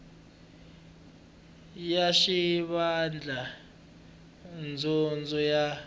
ya xivandla xa dyondzo ya